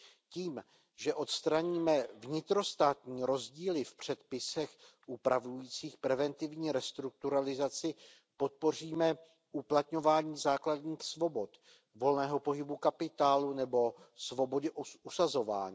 Tím, že odstraníme vnitrostátní rozdíly v předpisech upravujících preventivní restrukturalizaci, podpoříme uplatňování základních svobod volného pohybu kapitálu nebo svobody usazování.